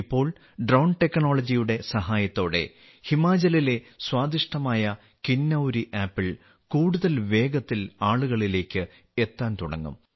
ഇപ്പോൾ ഡ്രോൺ സാങ്കേതികവിദ്യായുടെ സഹായത്തോടെ ഹിമാചലിലെ സ്വാദിഷ്ടമായ കിന്നൌരി ആപ്പിൾ കൂടുതൽ വേഗത്തിൽ ആളുകളിലേക്ക് എത്താൻ തുടങ്ങും